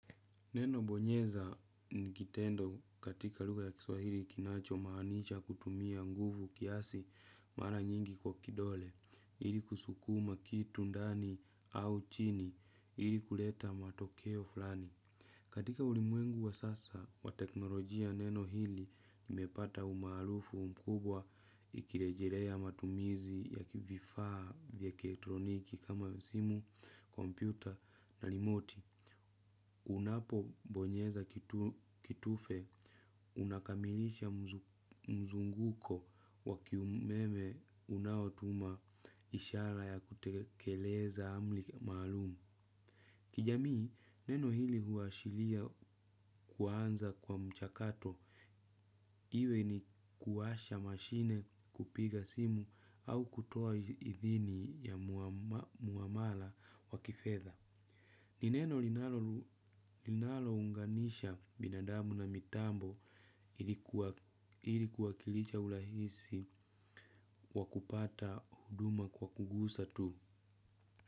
Neno bonyeza ni kitendo katika lugha ya kiswahili kinachomaanisha kutumia nguvu kiasi mara nyingi kwa kidole ili kusukuma kitu ndani au chini ili kuleta matokeo fulani. Katika ulimwengu wa sasa, wa teknolojia neno hili limepata umaarufu mkubwa ikirejelea matumizi ya vifaa vya kielektroniki kama simu, kompyuta na rimoti. Unapobonyeza kitufe, unakamilisha mzunguko wa kiumeme unaotuma ishara ya kutekeleza amri maalumu. Kijamii, neno hili huashiria kuanza kwa mchakato. Iwe ni kuwasha mashine kupiga simu au kutoa idhini ya muamala wa kifedha. Ni neno linalounganisha binadamu na mitambo ili kuwakilisha urahisi wa kupata huduma kwa kugusa tu.